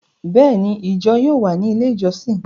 Béèni, ijọ yóò wà ni ilé ijọsin